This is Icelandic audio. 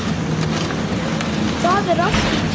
Þar er allt til.